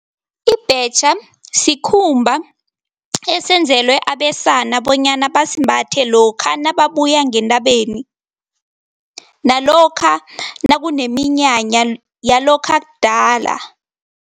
Ibhetjha sikhumba esenzelwe abesana bonyana basimbathe lokha nababuya ngentabeni, nalokha nakuneminyanya yalokha kudala.